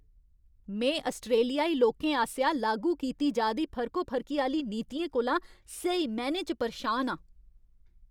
में आस्ट्रेलियाई लोकें आसेआ लागू कीती जा दी फर्कोफर्की आह्‌ली नीतियें कोला स्हेई मैह्नें च परेशान आं।